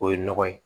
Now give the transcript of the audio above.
O ye nɔgɔ ye